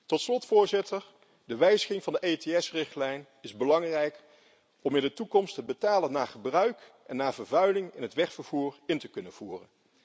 Tot slot, voorzitter, is de wijziging van de EETS-richtlijn belangrijk om in de toekomst betaling naar gebruik en vervuiling in het wegvervoer te kunnen invoeren.